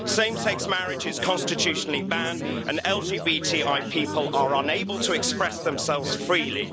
Same-sex marriage is constitutionally banned and LGBTI people are unable to express themselves freely.